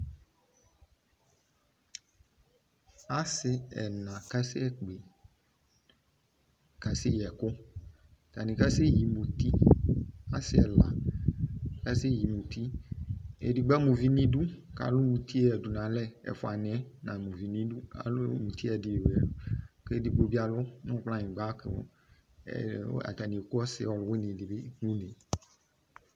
Ase ɛna kasɛ kpe kasɛ yi ɛku Atane kasɛ yi muti Ase ɛla kasɛ yi muti edigbo ama uvi noidu ko alu mutie yadu nalɛƐfua neɛ na ma uvi no idu ko alu mutue de, ko edigbo be alu kplayingba, ko atane eku ɔse ɔluwene de be no une